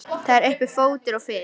Það er uppi fótur og fit.